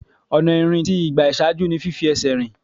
Ọ̀nà ìrìn tí ìgbà ìṣáájú ni fífi ẹsẹ̀ rìn.